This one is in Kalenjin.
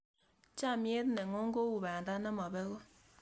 chamiet ne ng'un ko u banda ne mapegu